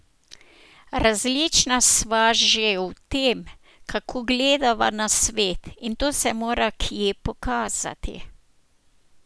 Različna sva že v tem, kako gledava na svet, in to se mora kje pokazati.